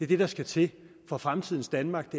det der skal til for fremtidens danmark